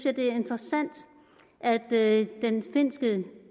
at det er interessant at finske